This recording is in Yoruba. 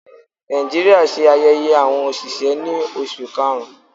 Nàìjíríà ṣe ayẹyẹ awọn oṣiṣẹ ni Oṣu Karun.